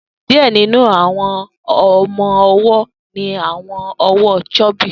Diẹ ninu awọn ọmọ-ọwọ ni awọn ọwọ chubby.